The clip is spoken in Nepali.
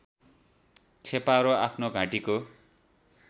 छेपारो आफ्नो घाँटीको